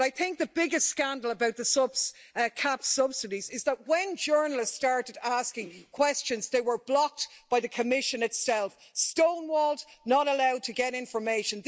But I think the biggest scandal about the CAP subsidies is that, when journalists started asking questions, they were blocked by the Commission itself stonewalled and not allowed to get information.